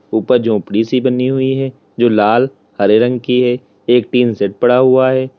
ऊपर झोपड़ी सी बनी हुई है जो लाल हरे रंग की है। एक टीन शेड पड़ा हुआ है।